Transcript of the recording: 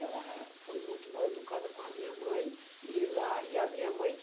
Ela foi muito mal educada com a minha mãe. E lá e a minha mãe